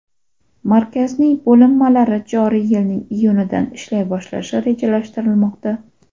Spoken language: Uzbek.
Markazning bo‘linmalari joriy yilning iyunidan ishlay boshlashi rejalashtirilmoqda.